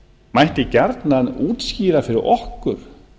mætti gjarnan útskýra fyrir okkur